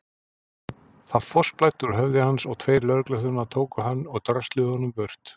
Það fossblæddi úr höfði hans og tveir lögregluþjónar tóku hann og drösluðu honum burt.